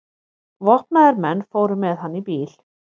Vopnaðir menn fóru með hann í bíl.